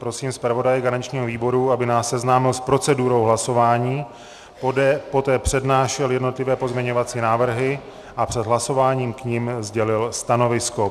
Prosím zpravodaje garančnímu výboru, aby nás seznámil s procedurou hlasování, poté přednášel jednotlivé pozměňovací návrhy a před hlasováním k nim sdělil stanovisko.